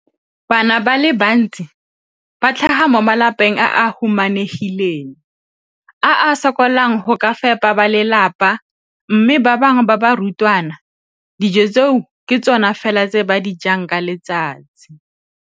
Bana ba le bantsi ba tlhaga mo malapeng a a humanegileng a a sokolang go ka fepa ba lelapa mme ba bangwe ba barutwana, dijo tseo ke tsona fela tse ba di jang ka letsatsi.